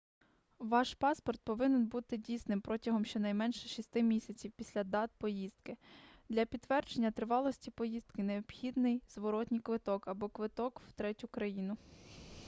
ваш паспорт повинен бути дійсним протягом щонайменше 6 місяців після дат поїздки для підтвердження тривалості поїздки необхідний зворотній квиток або квиток в третю країну